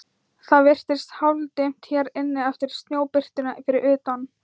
Það virðist hálfdimmt hér inni eftir snjóbirtuna fyrir utan.